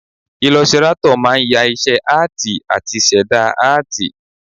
Ilọsirátọ̀ ló máa ń ya iṣẹ́ áàtì àti ṣẹ̀dá áàtì